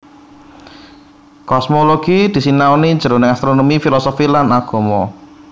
Kosmologi disinaoni jroning astronomi filosofi lan agama